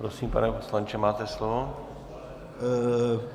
Prosím, pane poslanče, máte slovo.